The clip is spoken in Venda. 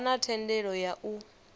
vha na thendelo ya u